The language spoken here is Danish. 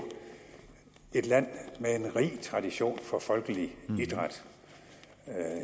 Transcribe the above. et land med en rig tradition for folkelig idræt